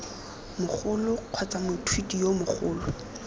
mogolo kgotsa moithuti yo mogolo